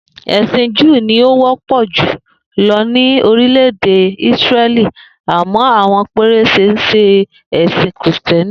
È̩sìn Júù ni ó wó̩pò̩ jù lo̩ ní orilè̩-èdè Ísíré̩lì àmó̩ àwo̩n péréte ń s̩e è̩sì̩n Krìsté̩nì